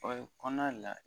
O ye kɔna la.